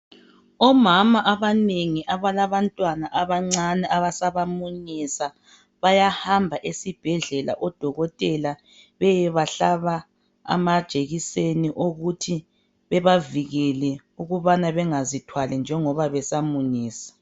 Omama abanengi abalabantwana abancane abasabamunyisa. Bayahamba esibhedlela. Odokotela beyebahlaba amajekiseni okuthi babavikele, ukuthi bengazithwali, njengoba besamunyisa.